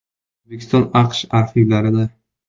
O‘zbekiston AQSh arxivlarida .